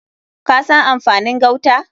Ka san amfanin gauta?